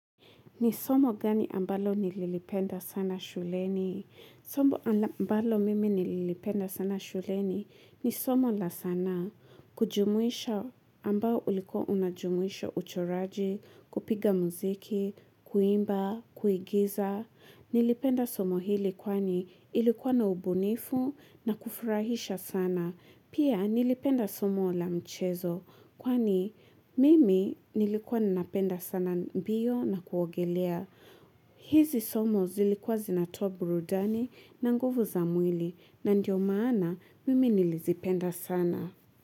Ni somo gani ambalo nililipenda sana shuleni? Somo ambalo mimi nililipenda sana shuleni ni somo la sanaa. Kujumuisha ambao ulikuwa unajumuisha uchoraji, kupiga mziki, kuimba, kuigiza. Nilipenda somo hili kwani ilikuwa na ubunifu na kufurahisha sana. Pia nilipenda somo la mchezo kwani mimi nilikuwa ninapenda sana mbio na kuogelea. Hizi somo zilikuwa zinatoa burudani na nguvu za mwili na ndio maana mimi nilizipenda sana.